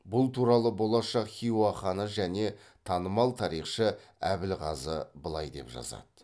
бұл туралы болашақ хиуа ханы және танымал тарихшы әбілғазы былай деп жазады